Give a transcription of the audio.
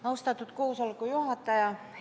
Austatud koosoleku juhataja!